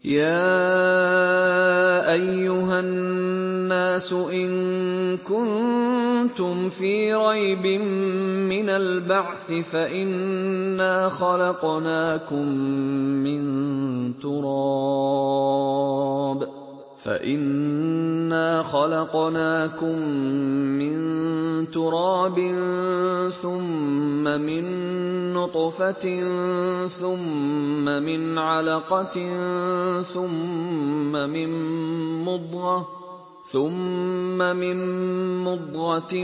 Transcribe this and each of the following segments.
يَا أَيُّهَا النَّاسُ إِن كُنتُمْ فِي رَيْبٍ مِّنَ الْبَعْثِ فَإِنَّا خَلَقْنَاكُم مِّن تُرَابٍ ثُمَّ مِن نُّطْفَةٍ ثُمَّ مِنْ عَلَقَةٍ ثُمَّ مِن مُّضْغَةٍ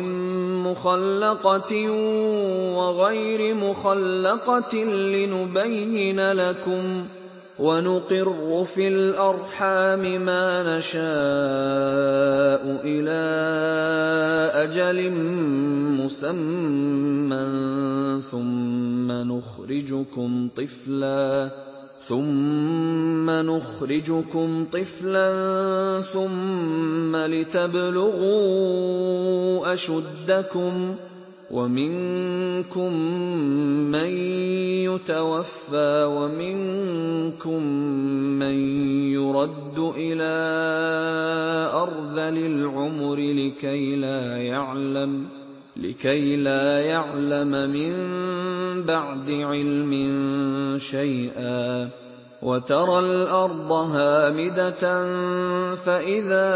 مُّخَلَّقَةٍ وَغَيْرِ مُخَلَّقَةٍ لِّنُبَيِّنَ لَكُمْ ۚ وَنُقِرُّ فِي الْأَرْحَامِ مَا نَشَاءُ إِلَىٰ أَجَلٍ مُّسَمًّى ثُمَّ نُخْرِجُكُمْ طِفْلًا ثُمَّ لِتَبْلُغُوا أَشُدَّكُمْ ۖ وَمِنكُم مَّن يُتَوَفَّىٰ وَمِنكُم مَّن يُرَدُّ إِلَىٰ أَرْذَلِ الْعُمُرِ لِكَيْلَا يَعْلَمَ مِن بَعْدِ عِلْمٍ شَيْئًا ۚ وَتَرَى الْأَرْضَ هَامِدَةً فَإِذَا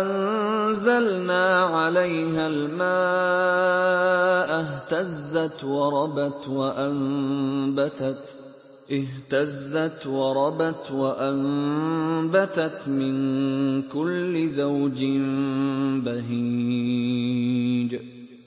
أَنزَلْنَا عَلَيْهَا الْمَاءَ اهْتَزَّتْ وَرَبَتْ وَأَنبَتَتْ مِن كُلِّ زَوْجٍ بَهِيجٍ